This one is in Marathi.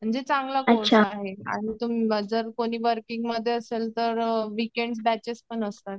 म्हणजे चांगला कोर्स आहे आणि तुम्ही जर कोणी वर्किंगमध्ये असेल तर विकेंड बॅचेस पण असतात.